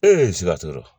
sikaso